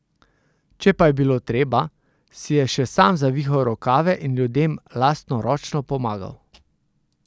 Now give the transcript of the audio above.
Če pa je bilo treba, si je še sam zavihal rokave in ljudem lastnoročno pomagal.